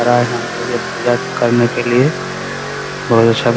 पूजा करने के लिए और सब --